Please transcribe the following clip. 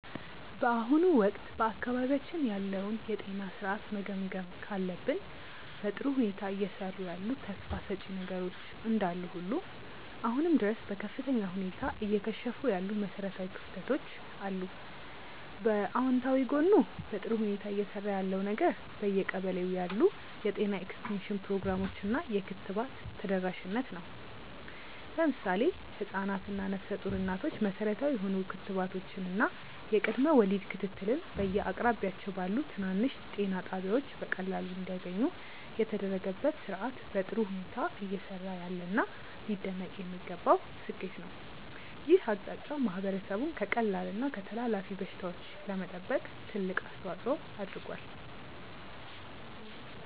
በአሁኑ ወቅት በአካባቢያችን ያለውን የጤና ሥርዓት መገምገም ካለብን፣ በጥሩ ሁኔታ እየሰሩ ያሉ ተስፋ ሰጪ ነገሮች እንዳሉ ሁሉ አሁንም ድረስ በከፍተኛ ሁኔታ እየከሸፉ ያሉ መሠረታዊ ክፍተቶች አሉ። በአዎንታዊ ጎኑ በጥሩ ሁኔታ እየሰራ ያለው ነገር በየቀበሌው ያሉ የጤና ኤክስቴንሽን ፕሮግራሞች እና የክትባት ተደራሽነት ነው። ለምሳሌ ህፃናት እና ነፍሰ ጡር እናቶች መሠረታዊ የሆኑ ክትባቶችን እና የቅድመ ወሊድ ክትትልን በየአቅራቢያቸው ባሉ ትናንሽ ጤና ጣቢያዎች በቀላሉ እንዲያገኙ የተደረገበት ሥርዓት በጥሩ ሁኔታ እየሰራ ያለና ሊደነቅ የሚገባው ስኬት ነው። ይህ አቅጣጫ ማህበረሰቡን ከቀላል እና ከተላላፊ በሽታዎች ለመጠበቅ ትልቅ አስተዋፅዖ አድርጓል።